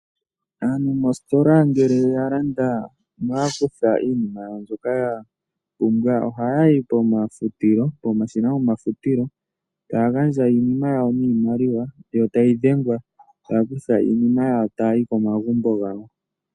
Aantu moositola ngele ya landa noya kutha iinima mbyoka ya pumbwa ohayayi pomafutilo, pomashina gomafutilo taya gandja iinima yawo niimaliwa yo tayi dhengwa taya kutha iinima yawo ta yayi komagumbo gawo.